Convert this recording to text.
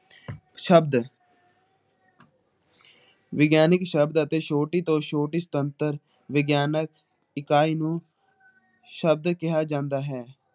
ਸ਼ਬਦ ਵਿਗਿਆਨਿਕ ਸ਼ਬਦ ਅਤੇ ਛੋਟੀ ਤੋਂ ਛੋਟੀ ਸੁਤੰਤਰ ਵਿਗਿਆਨਕ ਇਕਾਈ ਨੂੰ ਸ਼ਬਦ ਕਿਹਾ ਜਾਂਦਾ ਹੈ ।